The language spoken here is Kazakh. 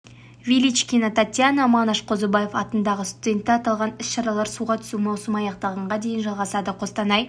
величкина татьяна манаш қозыбаев атындағы студенті аталған іс шаралар суға түсу маусымы аяқталғанға дейін жалғасады қостанай